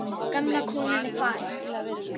Gamla konan er farin.